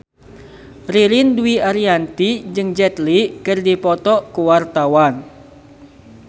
Ririn Dwi Ariyanti jeung Jet Li keur dipoto ku wartawan